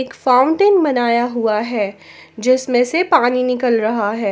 Fountain बनाया हुआ है जिसमें से पानी निकल रहा है।